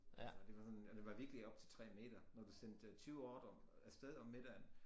Altså det var sådan og det var virkelig op til 3 meter når du sendte 20 ordrer af sted om middagen